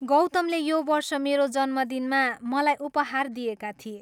गौतमले यो वर्ष मेरो जन्मदिनमा मलाई उपहार दिएका थिए।